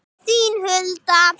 Þín Hulda.